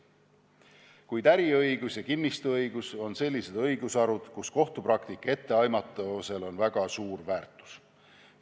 Kuid äriõigus ja kinnistusõigus on sellised õigusharud, kus kohtupraktika etteaimatavusel on väga suur väärtus.